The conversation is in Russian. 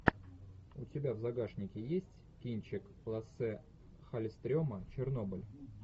у тебя в загашнике есть кинчик лассе халльстрема чернобыль